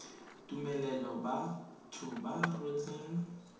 tumelelo batho ba ba rotseng